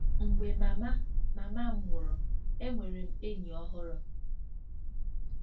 “Mgbe mama mama m nwụrụ, enwere m enyi ọhụrụ.